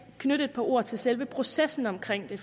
knytte et par ord til selve processen omkring det